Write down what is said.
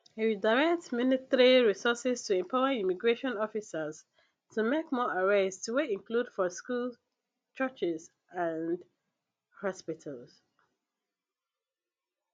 e redirect military resources to empower immigration officers to make more arrests wey include for schools churches and hospitals